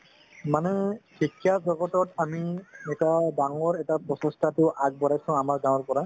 মানে শিক্ষা জগতত আমি এটা ডাঙৰ এটা প্ৰচেষ্টাটো আগবঢ়াইছো আমাৰ গাৱৰ পৰা